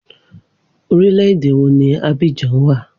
Orílẹ̀ èdè wo ni Abidjan wà?